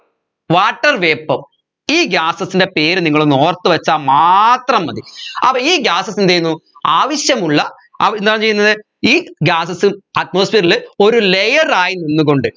water vapour ഈ gases ൻറെ പേര് നിങ്ങൾ ഒന്ന് ഓർത്തുവച്ചാൽ മാത്രം മതി അപ്പൊ ഈ gases എന്തുചെയ്യുന്നു ആവശ്യമുള്ള അഹ് എന്താ ചെയ്യുന്നത് ഈ gases ഉം atmosphere ൽ ഒരു layer ആയി നിന്നുകൊണ്ട്